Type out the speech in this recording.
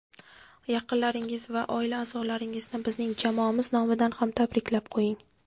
Yaqinlaringiz va oila a’zolaringizni bizning jamoamiz nomidan ham tabriklab qo‘ying.